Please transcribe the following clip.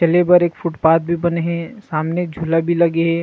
चले बर एक फुटपाथ भी बने हे सामने झूला भी लगे हे।